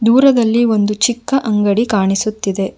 ದೂರದಲ್ಲಿ ಒಂದು ಚಿಕ್ಕ ಅಂಗಡಿ ಕಾಣಿಸುತ್ತಿದೆ.